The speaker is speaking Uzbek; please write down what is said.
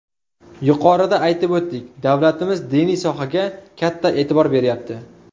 Yuqorida aytib o‘tdik, davlatimiz diniy sohaga katta e’tibor beryapti.